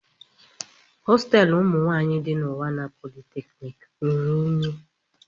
Hostelu umụ nwanyị di na unwana polytechniki ruru unyi.